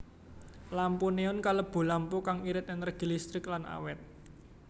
Lampu neon kalebu lampu kang irit énérgi listrik lan awét